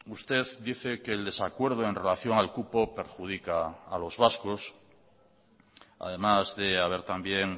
usted dice que el desacuerdo en relación al cupo perjudica a los vascos además de haber también